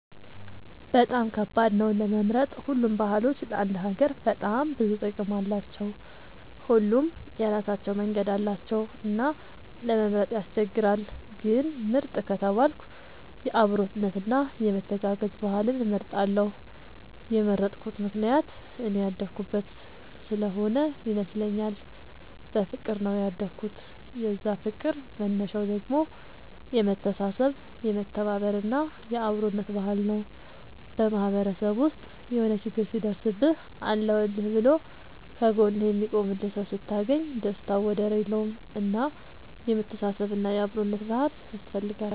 በጣም ከባድ ነው ለመምረጥ ሁሉም ባህሎች ለአንድ ሀገር በጣም ብዙ ጥቅም አላቸው። ሁሉም የራሳቸው መንገድ አላቸው እና ለመምረጥ ያስቸግራል። ግን ምርጥ ከተባልኩ የአብሮነት እና የመተጋገዝ ባህልን እመርጣለሁ የመረጥኩት ምክንያት እኔ ያደኩበት ስሆነ ይመስለኛል። በፍቅር ነው ያደኩት የዛ ፍቅር መነሻው ደግሞ የመተሳሰብ የመተባበር እና የአብሮነት ባህል ነው። በማህበረሰብ ውስጥ የሆነ ችግር ሲደርስብህ አለሁልህ ብሎ ከ ጎንህ የሚቆምልህ ሰው ስታገኝ ደስታው ወደር የለውም። እና የመተሳሰብ እና የአብሮነት ባህል ያስፈልጋል